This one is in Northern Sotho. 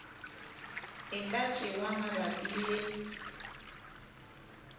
e ka tšewa mabapi le